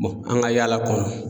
an ka yaala kɔnɔ.